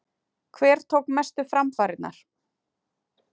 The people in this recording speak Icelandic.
Hver tók mestu framfarirnar?